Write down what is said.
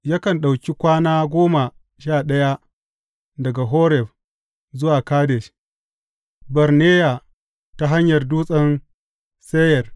Yakan ɗauki kwana goma sha ɗaya daga Horeb zuwa Kadesh Barneya ta hanyar Dutsen Seyir.